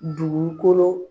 Dugukolo.